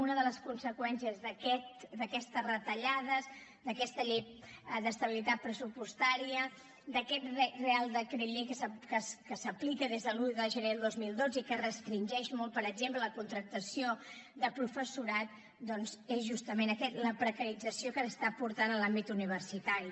una de les conseqüències d’aquestes retallades d’aquesta llei d’estabilitat pressupostària d’aquest reial decret llei que s’aplica des de l’un de gener del dos mil dotze i que restringeix molt per exemple la contractació de professorat doncs és justament aquest la precarització que s’està portant a l’àmbit universitari